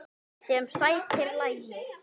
Sem sætir lagi.